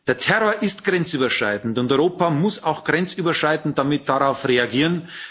Der Terror ist grenzüberschreitend, und Europa muss auch grenzüberschreitend darauf reagieren.